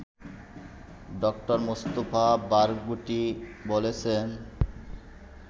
ড: Mustafa Barghouti বলেছেন